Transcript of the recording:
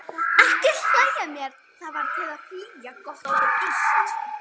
Ekki hlæja að mér: það var til að flýja gott og illt.